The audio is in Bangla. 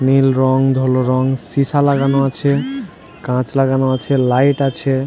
নীল রঙ ধোলো রঙ সিশা লাগানো আছে কাঁচ লাগানো আছে লাইট আছে।